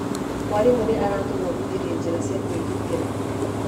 Mwarimũ nĩ aratũthomithirie njĩra cia kwĩgitĩra.